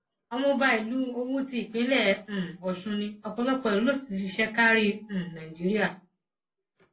ọmọọba ìlú owú ti ìpínlẹ um ọsùn ní ọpọlọpọ ìlú ló sì ti ṣiṣẹ kárí um nàìjíríà